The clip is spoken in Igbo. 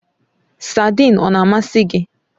Saidin ọ na amasị gị?